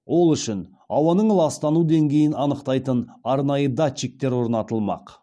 ол үшін ауаның ластану деңгейін анықтайтын арнайы датчиктер орнатылмақ